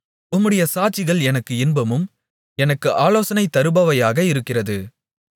உம்முடைய சாட்சிகள் எனக்கு இன்பமும் எனக்கு ஆலோசனை தருபவையாக இருக்கிறது